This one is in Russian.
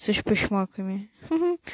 с эчпочмаками ха-ха